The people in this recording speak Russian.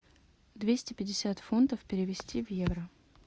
двести пятьдесят фунтов перевести в евро